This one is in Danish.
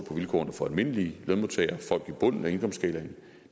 på vilkårene for almindelige lønmodtagere folk i bunden af indkomstskalaen